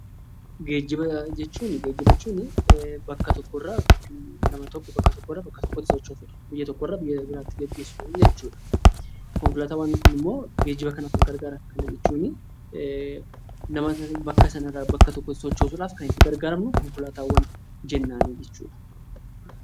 Geejjiba jechuun bakka tokkorraa bakka tokkotti sochoosuudha. Konkolaataawwan immoo geejjibaaf kan gargaaranidha. Kana jechuun nama sana bakka sanarraa bakka tokkotti sochoosuudhaaf kan itti gargaaramnu konkolaataawwan jennaan jechuudha.